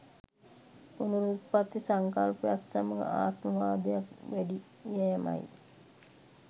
පුනරුත්පත්ති සංකල්පයත් සමඟ ආත්මවාදයක් වැඩි යෑමයි.